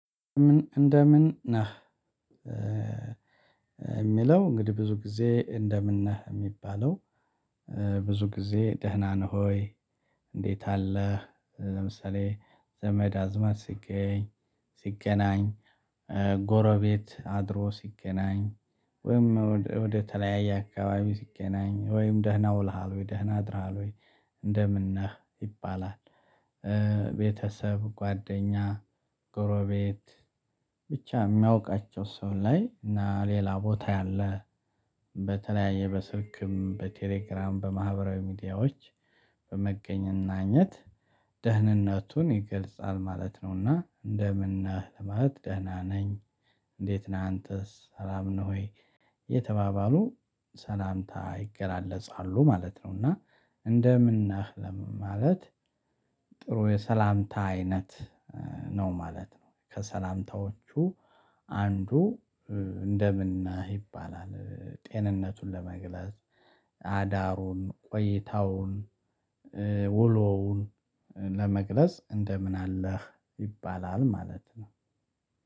ምን እንደምን ነህ? የሚለው እንግዲህ ብዙ ጊዜ እንደምን ነህ የሚባለው። ብዙ ጊዜ ደህና ነህ ሆይ። እንዴት አለህ ለምሳሌ ዘመድ አዝማድ ሲገኝ ሲገናኝ ጎረቤት አድሮ ሲገናኝ ወይም ወደ ተለያየ አካባቢ ሲገናኝ ወይም ደህና ውልሃል ወይ ደህና አድራሃል ወይ እንደምን ነህ ይባላል። ቤተሰብ ጓደኛ ጎረቤት ብቻ የሚያውቃቸው ሰው ላይ እና ሌላ ቦታ ያለ በተለያየ በስልክም በቴሌግራም በማህበራዊ ሚዲያዎች በመገናኘት ደህንነቱን ይገልጻል ማለት ነውና እንደምን ነህ ለማለት ደህና ነኝ። እንዴት ነህ አንተስ ሰላም ነህ ሆይ እየተባባሉ ሰላምታ ይገላለፃሉ ማለት ነው። እና እንደምን እናህ ለምን ማለት ጥሩ የሰላምታ አይነት ነው ማለት ነው። ከሰላምታዎቹ አንዱ እንደምን ነህ ይባላል ጤንነቱን ለመግለጽ አዳሩን ቆይታውን ውሎውን ለመግለጽ እንደምን አለህ ይባላል ማለት ነው